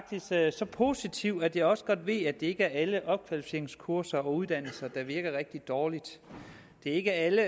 så positivt at jeg også godt ved at det ikke er alle opkvalificeringskurser og uddannelser der virker rigtig dårligt det er ikke alle